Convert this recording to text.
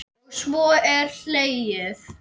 Og svo er hlegið.